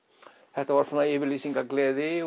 þetta var svona yfirlýsingagleði